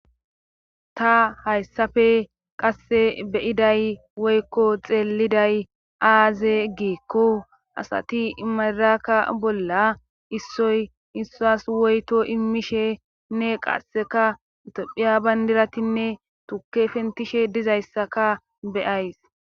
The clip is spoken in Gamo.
ta hayssafe qasse beyiday woykko xeeliday aaze giikko asati imadirakka bolla issoy issas woyto imishenne qasseka itophiya bandiratinne tukke fentishe dizayssaka beyays